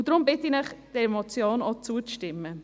Darum bitte ich Sie, dieser Motion auch zuzustimmen.